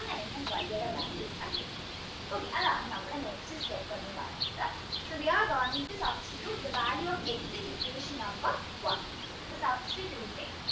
y value കണ്ടുപിടിക്കാം okay അതാണ് നമ്മുടെ next step എന്ന് പറയുന്നത് so we are going to substitute the value of x in equation number one the substituting